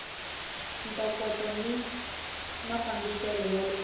ntokoto ni mafambisele ya le